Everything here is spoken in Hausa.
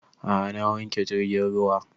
A'a na wanke jirgin ruwa